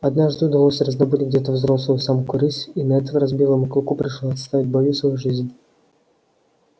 однажды удалось раздобыть где то взрослую самку рысь и на этот раз белому клыку пришлось отстаивать в бою свою жизнь